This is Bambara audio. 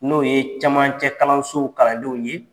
N'o ye camancɛkalansow kalandenw ye